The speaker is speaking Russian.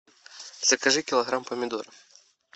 закажи килограмм помидоров